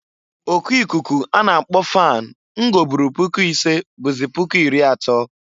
O ku ikuku a na akpọ fan m goburu puku isee bụzị puku iri atọọ.